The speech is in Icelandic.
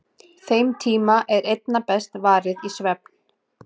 Þeim tíma er einna best varið í svefn.